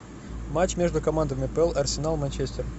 матч между командами апл арсенал манчестер